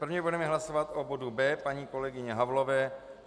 První budeme hlasovat o bodu B paní kolegyně Havlové.